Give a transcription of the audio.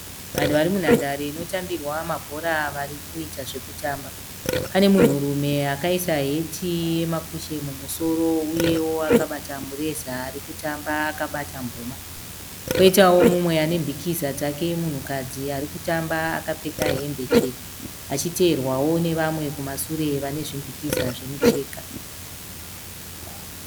Vanhu vari munhandare inotambirwa mabhora varikuita zvekutamba. Pane munhurume akaisa heti yemakushe mumusoro uyewo akabata mureza arikutamba akabata mboma. Kwoitawo mumwe ane mbikiza dzake munhukadzi arikutamba akapfeka hembe chena. Achiteerwavo nevamwe kumasure vane zvimbikiza zvemicheka.